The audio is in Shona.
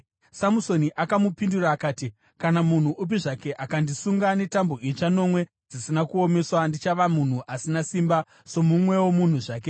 Samusoni akamupindura akati, “Kana munhu upi zvake akandisunga netambo itsva nomwe dzisina kuomeswa, ndichava munhu asina simba, somumwewo munhu zvake.”